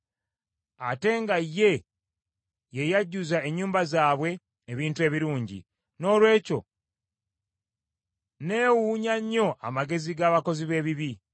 Ate nga ye, ye yajjuza ennyumba zaabwe ebintu ebirungi, noolwekyo neewuunya nnyo amagezi g’abakozi b’ebibi.